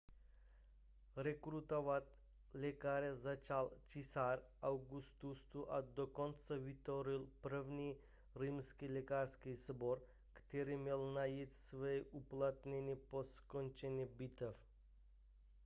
rekrutovat lékaře začal císař augustus a dokonce vytvořil první římský lékařský sbor který měl najít své uplatnění po skončení bitev